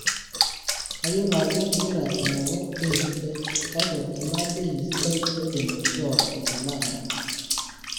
kayiolo ajo ingira aigoru bei sidai, kake ena bei sidai aidim aishoo tenakata